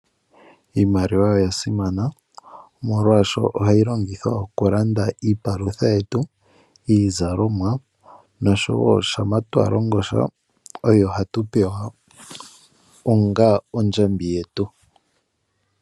Iimaliwa oyasimana oshoka ohatwiilongitha okulanda iipalutha yetu, iizalomwa, nohayi futwa aanilonga onga ondjambi ngele yalongosha.